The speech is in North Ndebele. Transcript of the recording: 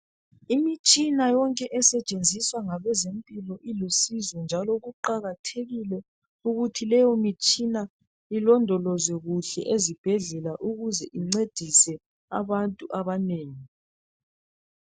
Imitshina yonke esetshenziswa ngabezempilakahle ilusizo njalo kuqakathekile ukuthi leyi mitshina ilondolozwe kuhle ezibhedlela ukuze incedise abantu abanengi.